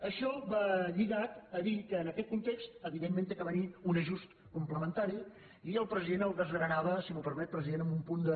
això va lligat a dir que en aquest context evidentment ha de venir un ajust complementari i el president el desgranava si m’ho permet president amb un punt de